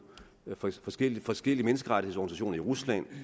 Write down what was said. forskellige forskellige menneskerettighedsorganisationer i rusland